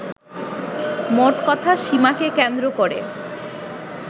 মোটকথা, সীমাকে কেন্দ্র করে